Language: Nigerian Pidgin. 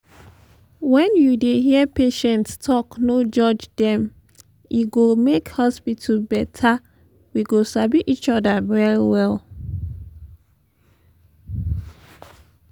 when you dey hear patients talk no judge dem e go make hospital better we go sabi each other well well.